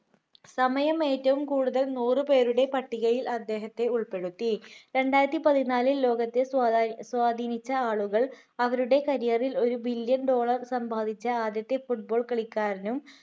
സമയം ഏറ്റവും കൂടുതൽ നൂറു പേരുടെ പട്ടികയിൽ അദ്ദേഹത്തെ ഉൾപ്പെടുത്തി രണ്ടായിരത്തി പതിനാലിൽ ലോകത്തെ സ്വാധീനിച്ച ആളുകൾ അവരുടെ career ൽ ഒരു billion സമ്പാദിച്ച ആദ്യത്തെ football കളിക്കാരനും